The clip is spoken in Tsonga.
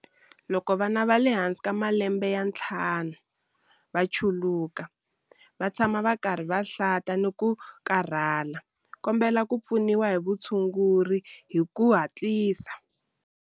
Loko vana va le hansi ka malembe ya ntlhanu va chuluka, va tshama va karhi va hlanta na ku karhala, kombela ku pfuniwa hi vutshunguri hi ku hatlisa.